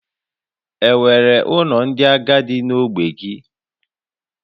Enwere ụlọ ndị agadi na ogbe gị?